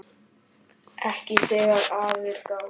Ekki þegar að er gáð.